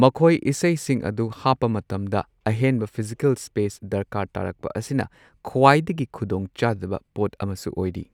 ꯃꯈꯣꯏ ꯏꯁꯩꯁꯤꯡ ꯑꯗꯨ ꯍꯥꯞꯄ ꯃꯇꯝꯗ ꯑꯍꯦꯟꯕ ꯐꯤꯖꯤꯀꯜ ꯁ꯭ꯄꯦꯁ ꯗꯔꯀꯥꯔ ꯇꯥꯥꯔꯛꯄ ꯑꯁꯤꯅ ꯈ꯭ꯋꯥꯏꯗꯒꯤ ꯈꯨꯗꯣꯡ ꯆꯥꯗꯕ ꯄꯣꯠ ꯑꯃꯁꯨ ꯑꯣꯏꯔꯤ꯫